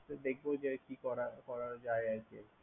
আচ্ছা দেখবো যে কি করা করা যায় আরকি।